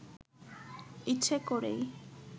ইচ্ছে করেই